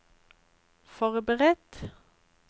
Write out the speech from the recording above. forberedt